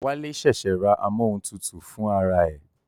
Wálé ṣẹ̀ṣẹ̀ ra amóhuntutù fún ara ẹ̀